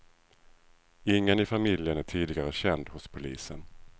Ingen i familjen är tidigare känd hos polisen.